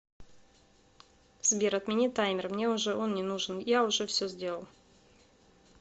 сбер отмени таймер мне уже он не нужен я уже все сделал